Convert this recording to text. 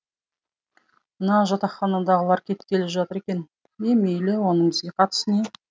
мына жатақханадағылар кеткелі жатыр екен е мейлі оның бізге қатысы не